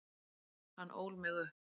Hann ól mig upp.